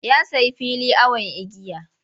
Ya sayi fili awon igiya.